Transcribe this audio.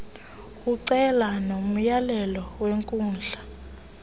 ucele nomyalelo wenkundla